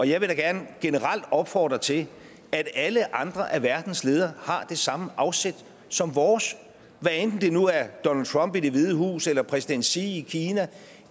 jeg vil da gerne generelt opfordre til at alle andre af verdens ledere har det samme afsæt som vores hvad enten det nu er donald trump i det hvide hus eller præsident xi i kina